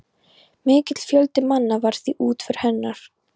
Mikill fjöldi manna var við útför hennar.